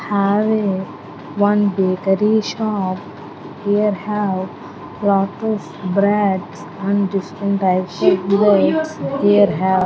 have a one bakery shop here have lot of breads and distant types of breads here have.